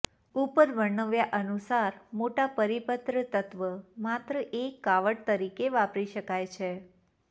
ઉપર વર્ણવ્યા અનુસાર મોટા પરિપત્ર તત્વ માત્ર એક કાવડ તરીકે વાપરી શકાય છે